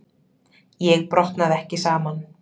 Ég brotnaði ekki saman.